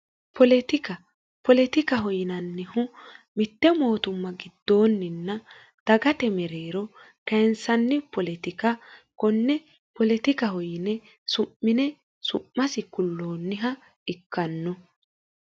poletikaho yinannihu mitte mootumma giddoonninna dagate mereero kayinsanni poletika konne poletikaho yine su'mine su'masi kulloonniha ikkanno